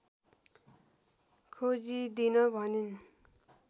खोजिदिन भनिन्